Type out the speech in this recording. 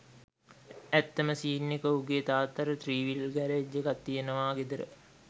ඇත්තම සීන් එක උගේ තාත්තට ත්‍රීවිලර් ගැරේජ් එකක් තියෙනවා ගෙදර